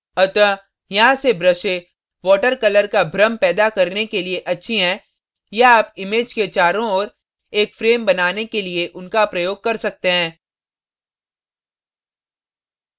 अतः यहाँ ये ब्रशें water colour का भ्रम पैदा करने के लिए अच्छी हैं या आप image के चारों ओर एक frame बनाने के लिए उनका प्रयोग कर सकते हैं